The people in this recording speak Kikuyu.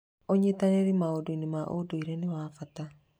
Ũnyitanĩri maũndũ-inĩ ma ũndũire ni wa bata.